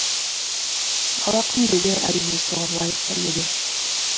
ал ақын еңбегі әрине соған лайық та еді